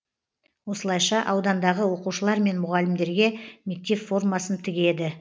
осылайша аудандағы оқушылар мен мұғалімдерге мектеп формасын тігеді